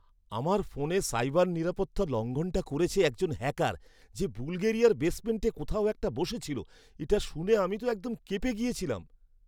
আমার ফোনে সাইবার নিরাপত্তা লঙ্ঘনটা করেছে একজন হ্যাকার যে বুলগেরিয়ার বেসমেন্টে কোথাও একটা বসে ছিল, এটা শুনে আমি তো একদম কেঁপে গিয়েছিলাম।